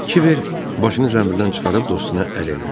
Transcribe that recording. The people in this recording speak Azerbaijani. Kiber başını zənbildən çıxarıb dostuna əl elədi.